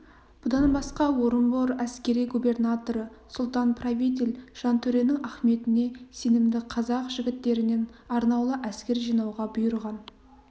бұдан басқа орынбор әскери губернаторы сұлтан-правитель жантөренің ахметіне сенімді қазақ жігіттерінен арнаулы әскер жинауға бұйырған